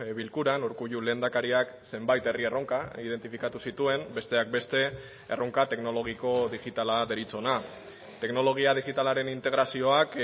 bilkuran urkullu lehendakariak zenbait herri erronka identifikatu zituen besteak beste erronka teknologiko digitala deritzona teknologia digitalaren integrazioak